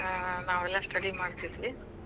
ಹಾ ನಾವೆಲ್ಲಾ study ಮಾಡತಿದ್ವಿ.